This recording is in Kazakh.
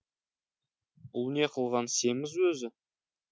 бұл не қылған сезім өзі